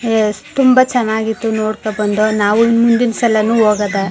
ಎಷ್ ತುಂಬಾ ಚನ್ನಾಗಿತ್ತು ನೋಡಕೋ ಬಂದೋ ನಾವು ಮುಂದಿನ ಸಲನು ಓಗೋದಾ.